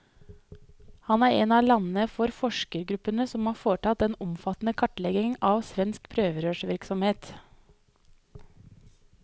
Han er en av lederne for forskergruppen som har foretatt den omfattende kartleggingen av svensk prøverørsvirksomhet.